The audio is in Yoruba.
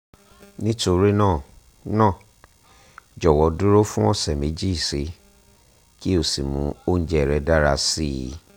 nítorí náà náà jọ̀wọ́ dúró fún ọ̀sẹ̀ méjì síi kí o sì mú oúnjẹ rẹ dára si